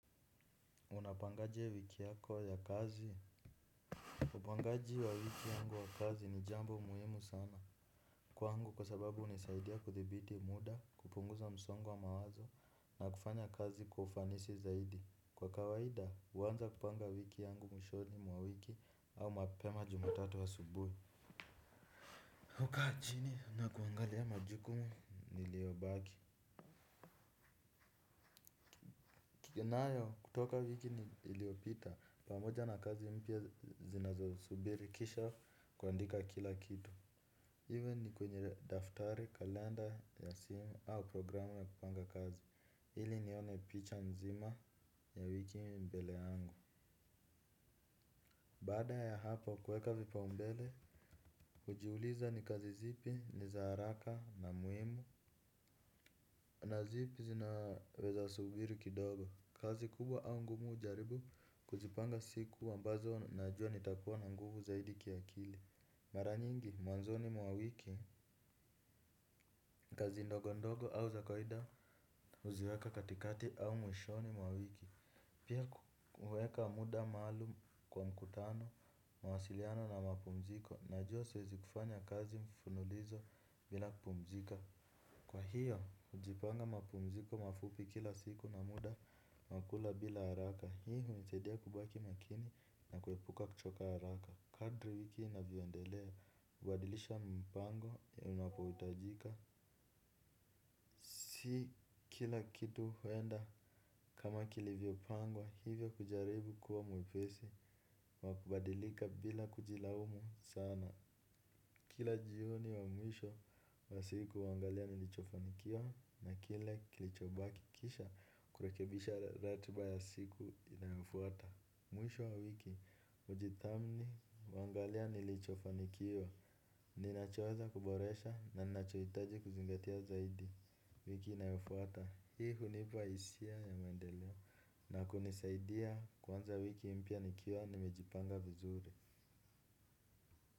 Unapangaje wiki yako ya kazi. Upangaji wa wiki yangu ya kazi ni jambo muhimu sana. Kwangu kwa sababu junisaidia kuthibiti muda kupunguza msongo wa mawazo na kufanya kazi kwa ufanisi zaidi. Kwa kawaida huanza kupanga wiki yangu mwishoni mwa wiki au mapema jumatatu asubuhi. Hukaa chini na kuangalia majukumu niliobaki. Kikinayo kutoka wiki iliopita pamoja na kazi mpya zinazosubiri kisha kuandika kila kitu. Iwe ni kwenye daftari kalenda ya simu au programu ya kupanga kazi ili nione picha nzima ya wiki mbele yangu. Baada ya hapo kuweka vipaumbele hujiuliza ni kazi zipi ni za haraka na muhimu na zipi zinaweza subiri kidogo. Kazi kubwa au ngumu hujaribu kuzipanga siku ambazo najua nitakuwa na nguvu zaidi kiakili. Mara nyingi, mwanzoni mwa wiki, kazi ndogo ndogo au za kawida huziweka katikati au mwishoni mwa wiki. Pia kuweka muda maalum kwa mkutano, mawasiliano na mapumziko najua siwezi kufanya kazi mfululizo bila kupumzika. Kwa hiyo, hujipanga mapumziko mafupi kila siku na muda, nakula bila haraka. Hii hunisaidia kubaki makini na kuepuka kuchoka haraka. Kadri wiki inavyoendelea, hubadilisha mpango ninapohitajika. Si kila kitu huenda kama kilivyopangwa, hivyo kujaribu kuwa mwepesi, wa kubadilika bila kujilaumu sana. Kila jioni wa mwisho wa siku huangalia nilichofanikiwa na kile kilichobaki kisha kurekebisha ratiba ya siku inayofuata. Mwisho wa wiki, hujithamni huangalia nilichofanikiwa. Ninachoweza kuboresha na ninachohitaji kuzingatia zaidi. Wiki inayofuata. Hii hunipa hisia ya maendeleo na kunisaidia kwanza wiki mpya nikiwa nimejipanga vizuri.